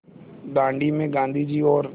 दाँडी में गाँधी जी और